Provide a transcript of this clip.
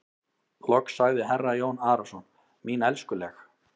Loks sagði herra Jón Arason:-Mín elskuleg.